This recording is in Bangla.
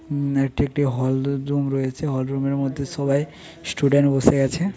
হুম এটি একটি হল রুম রয়েছে হল রুম -এর মধ্যে সবাই স্টুডেন্ট বসে আছে--